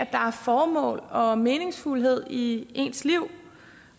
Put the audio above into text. formål og meningsfuldhed i ens liv